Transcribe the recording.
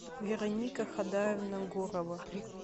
вероника хадаевна гурова